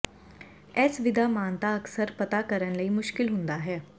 ਇਸ ਵਿਧਾ ਮਾਨਤਾ ਅਕਸਰ ਪਤਾ ਕਰਨ ਲਈ ਮੁਸ਼ਕਲ ਹੁੰਦਾ ਹੈ